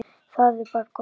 Það er bara gott mál.